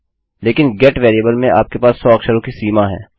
लेकिन get variable में आपके पास सौ अक्षरों की सीमा है